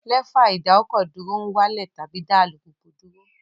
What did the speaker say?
Lẹ́fà ìdákọ̀dúró ń wá lẹ̀ tàbí dá alùpùpù dúró